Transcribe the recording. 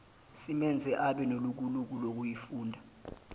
simenze abenelukuluku lokuyifunda